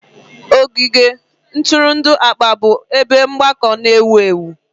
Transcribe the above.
Ogige ntụrụndụ akpa bụ ebe mgbakọ na-ewu ewu.